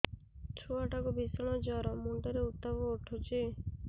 ଛୁଆ ଟା କୁ ଭିଷଣ ଜର ମୁଣ୍ଡ ରେ ଉତ୍ତାପ ଉଠୁଛି